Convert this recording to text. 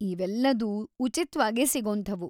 ಇವೆಲ್ಲದೂ ಉಚಿತ್ವಾಗೇ ಸಿಗೋಂಥವು.